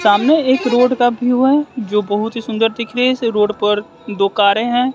सामने एक रोड का व्यूव है जो बहोत ही सुंदर दिख रहे है ऐसे रोड पर दो कारे हैं।